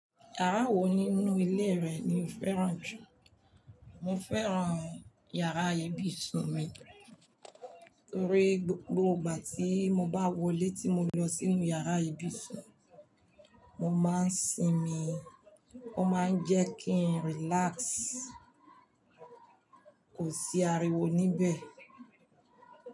Yàrá wo nínú ilé rẹ ni o fẹ́ràn jù? Mo fẹ́ràn yàrá ibùsùn mi, torí gbogbo ìgbà tí mo bá wọlé tí mo lọ sínú yàrá ibùsùn, mo máa ń sinmi, ó máa ń jẹ́ kí n relax. Kò sí ariwo níbẹ̀.